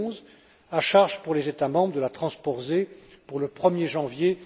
de 2011. À charge, pour les États membres, de la transposer pour le 1er janvier